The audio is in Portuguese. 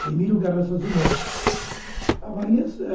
o Emílio Garrastazu Médici.